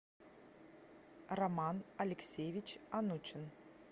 роман алексеевич анучин